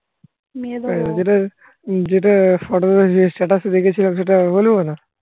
যেটা যেটা status এ দেখেছিলাম সেটা আর বলবো না.